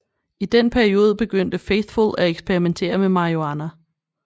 I den periode begyndte Faithfull at eksperimentere med marihuana